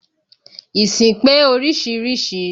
Ìsìn pé oríṣiríṣi